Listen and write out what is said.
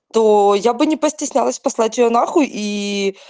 то я бы не постеснялась послать её на хуй и